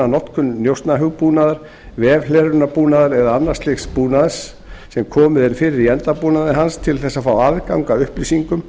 notkun njósnahugbúnaðar vefhlerunarbúnaðar eða annars slíks búnaðar sem komið er fyrir í endabúnaði hans til að fá aðgang að upplýsingum